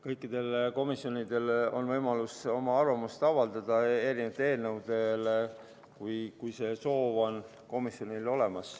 Kõikidel komisjonidel on soovi korral võimalus erinevate eelnõude kohta arvamust avaldada.